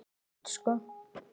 Enda eins gott.